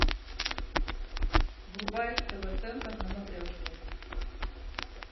врубай тв центр на матрешке